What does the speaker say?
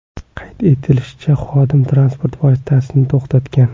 Qayd etilishicha, xodim transport vositasini to‘xtatgan.